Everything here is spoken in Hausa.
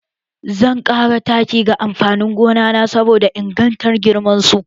Zan ƙara taki ga amfanin gona na saboda ingartan girman su